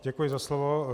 Děkuji za slovo.